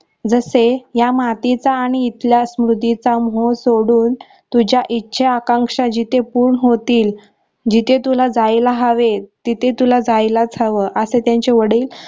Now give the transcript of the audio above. जसें या मातीचा आणि इथल्या स्मृतीचा मोह सोडून तुझ्या इच्छा आकांक्षा जिथे पूर्ण होतील जिथे तुला जायला हवे तिथे तुला जायलाच हवं असे त्यांचे वडील